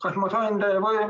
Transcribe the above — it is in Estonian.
Austatud minister!